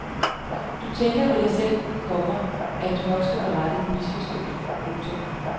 Du tænker ved dig selv, komma at du nok skal få rettet misforståelsen. punktum